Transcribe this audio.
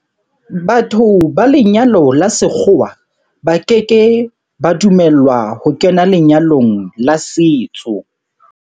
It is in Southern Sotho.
Batho ba lenyalo la sekgowa ba ke ke ba dumellwa ho kena lenyalong la setso.